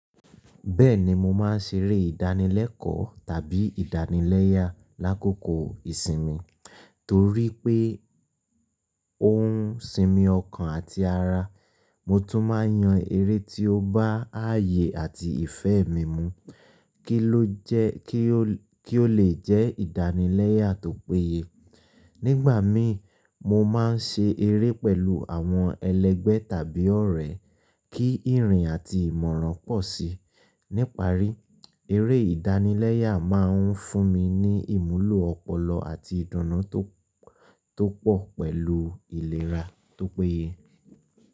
Bẹ́ẹ̀ni, mo máa ń ṣeré ìdánilẹ́kọ̀ọ́ tàbí ìdánilẹ́yà lákòókò ìsinmi torí pé òún sinmi ọkàn àti ara. Mo tún máa ń yan eré tí ó bá ààyè àti ìfẹ́ mi mu kí ó lè jẹ́ ìdánilẹ́yà tó péye. Nígbà mi, mo máa ń ṣe eré pẹ̀lú àwọn ẹlẹgbẹ́ tàbí ọ̀rẹ́ kí ìrìn àti ìmọ̀ràn pọ̀ sí. Níparí, eré ìdánilẹ́yà máa ń fún mi ní ìmúlò ọpọlọ àti ìdùnnú tó pọ̀ pẹ̀lú ìlera tó péye.